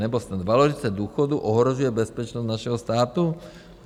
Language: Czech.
Nebo snad valorizace důchodů ohrožuje bezpečnost našeho státu?